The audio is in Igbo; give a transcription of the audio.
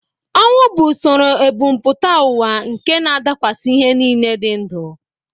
Ọnwụ bụ usoro ebumpụta ụwa nke na-adakwasị ihe niile dị ndụ